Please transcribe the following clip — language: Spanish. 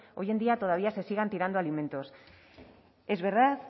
hoy en día todavía se sigan tirando alimentos es verdad